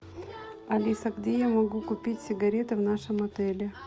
алиса где я могу купить сигареты в нашем отеле